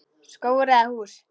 Skógur eða hús?